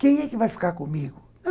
Quem é que vai ficar comigo?